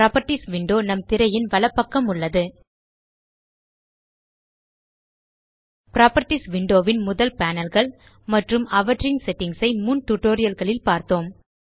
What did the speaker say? properties window நம் திரையின் வலப்பக்கம் உள்ளது புராப்பர்ட்டீஸ் விண்டோ ன் முதல் panelகள் மற்றும் அவற்றின் செட்டிங்ஸ் ஐ முன் டியூட்டோரியல் களில் பார்த்தோம்